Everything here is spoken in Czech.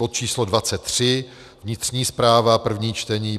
bod číslo 23, vnitřní správa, první čtení,